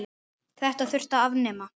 Þetta þyrfti að afnema.